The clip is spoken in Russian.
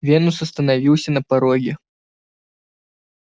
венус остановился на пороге